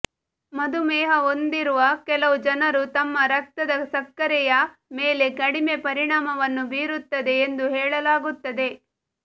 ಮಧುಮೇಹ ಹೊಂದಿರುವ ಕೆಲವು ಜನರು ತಮ್ಮ ರಕ್ತದ ಸಕ್ಕರೆಯ ಮೇಲೆ ಕಡಿಮೆ ಪರಿಣಾಮವನ್ನು ಬೀರುತ್ತದೆ ಎಂದು ಹೇಳಲಾಗುತ್ತದೆ